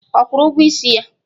Ọ kwụrụ ụgwọ isi ya?